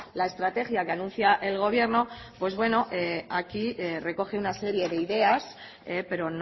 la estrategia que anuncia el gobierno pues bueno aquí recoge una serie de ideas pero